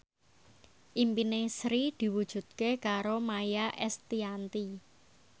impine Sri diwujudke karo Maia Estianty